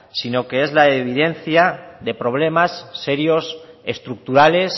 sino que es la evidencia de problemas serios estructurales